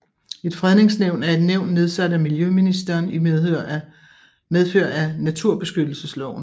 Et Fredningsnævn er et nævn nedsat af miljøministeren i medfør af naturbeskyttelsesloven